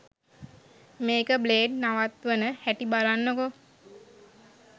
මේක බ්ලේඩ් නවත්වන හැටි බලන්නකෝ